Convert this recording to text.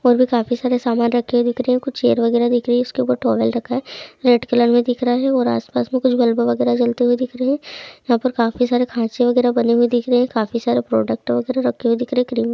और भी काफी सारे सामान रखे दिख रहे है कुछ चेयर वगैरह दिख रही है उसके उपर टॉवल रखा है रेड कलर में दिख रहा है और आसपास में कुछ बल्ब वगैरह जलते हुए दिख रहे है यहाँ पर काफी सारे खाँचे वगैरह बने हुए दिख रहे है काफी सारे प्रोडक्ट वगैरह रखे हुए दिख रहे है क्रीम